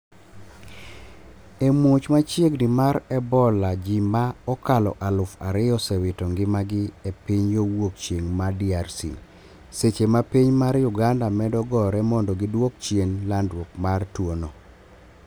e muoch machiegni mar Ebola ji ma okalo aluf ariyo osewito ngimagi e piny yo wuok chieng' ma DRC. seche ma piny mar Uganda medo gore mondo giduok chien landruok mar tuwo no